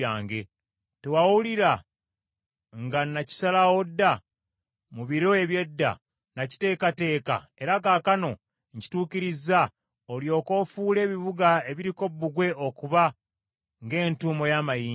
“ ‘Tewawulira nga nakisalawo dda? Mu biro eby’edda nakiteekateeka, era kaakano nkituukirizza, olyoke ofuule ebibuga ebiriko bbugwe okuba ng’entuumo y’amayinja.